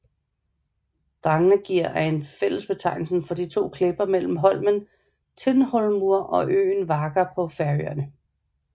Drangarnir er fællesbetegnelen for to klipper mellem holmen Tindhólmur og øen Vágar på Færøerne